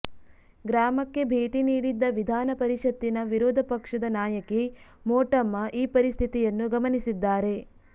ಗ್ರಾಮಕ್ಕೆ ಭೇಟಿ ನೀಡಿದ್ದ ವಿಧಾನಪರಿಷತ್ತಿನ ವಿರೋಧ ಪಕ್ಷದ ನಾಯಕಿ ಮೋಟಮ್ಮ ಈ ಪರಿಸ್ಥಿತಿಯನ್ನು ಗಮನಿಸಿದ್ದಾರೆ